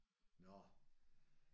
Nåh